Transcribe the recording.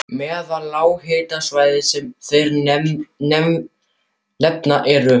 Meðal lághitasvæða sem þeir nefna eru